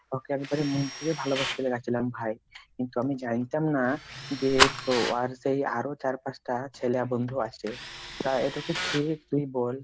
ওকে একবারে মন থেকে ভালোবাসতে লেগে ছিলাম ভাই, কিন্তু আমি জানতাম না যে উহার সেই আরো চার পাঁচটা ছেল্যা বন্ধু আছে তা এটা কি ঠিক তুই বোল?